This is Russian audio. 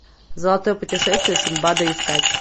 золотое путешествие синдбада искать